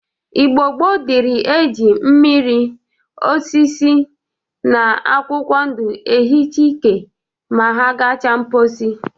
Igbo gboo dịri e ji mmiri, osisi, na akwụkwọ ndụ ehicha ike ma agacha mposi.